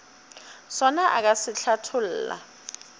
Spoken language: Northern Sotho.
sona o ka se hlatholla